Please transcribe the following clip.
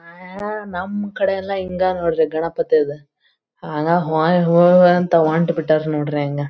ನಮ್ಮ ಕಡೆಯೆಲ್ಲಾ ಹಿಂಗ್ ನೋಡ್ರಿ ಗಣಪತಿದು ಹಾಗ್ ಹೊಯ್ ಹೊಯ್ ಅಂತ ಹೊಂಟ್ಟಬಿಟ್ರ್ ನೋಡ್ರಿ ಹಂಗ್.